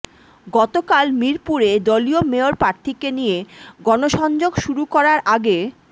গতকাল মিরপুরে দলীয় মেয়র প্রার্থীকে নিয়ে গণসংযোগ শুরু করার আগে